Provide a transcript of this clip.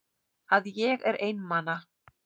Að ég er einmana.